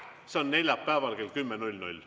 See on neljapäeval kell 10.00.